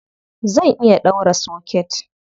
Zan iya ɗaura soket.